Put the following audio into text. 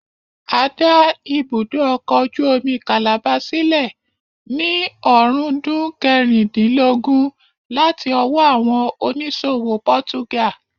A dá ibùdó ọkọ̀ ojú omi calabar sílẹ̀ ní ọ̀rúndún kẹrìndínlógún láti ọwọ́ àwọn oníṣòwò pọ́túgà